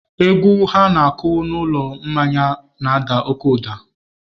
Egwu ha na-akụ n'ụlọ mmanya n'ada oke ụda.